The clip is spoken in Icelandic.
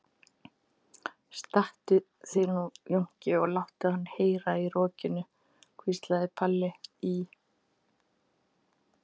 Stattu þig nú Jónki og láttu hann heyra í rokinu, hvíslaði Palli í